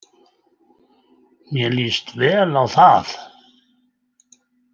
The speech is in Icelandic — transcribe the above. Mér líst vel á það.